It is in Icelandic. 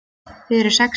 Þið eruð sexý